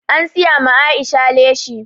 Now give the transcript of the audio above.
An siya ma Aisha leshi